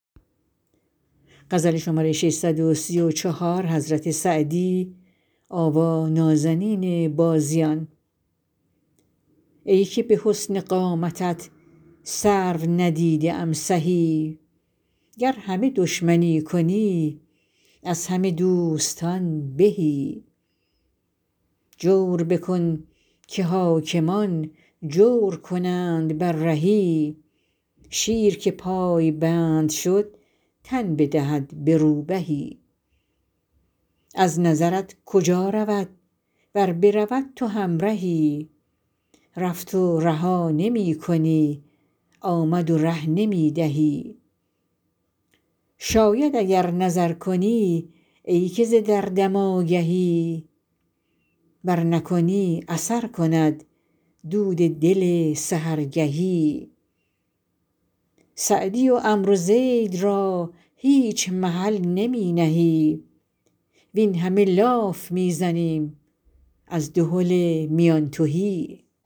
ای که به حسن قامتت سرو ندیده ام سهی گر همه دشمنی کنی از همه دوستان بهی جور بکن که حاکمان جور کنند بر رهی شیر که پایبند شد تن بدهد به روبهی از نظرت کجا رود ور برود تو همرهی رفت و رها نمی کنی آمد و ره نمی دهی شاید اگر نظر کنی ای که ز دردم آگهی ور نکنی اثر کند دود دل سحرگهی سعدی و عمرو زید را هیچ محل نمی نهی وین همه لاف می زنیم از دهل میان تهی